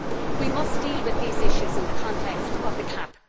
We must deal with these issues in the context of the CAP.